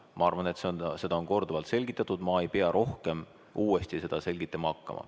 Ma arvan, et seda on korduvalt selgitatud ja ma ei pea rohkem uuesti seda selgitama hakkama.